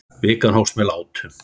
Vikan hófst með látum.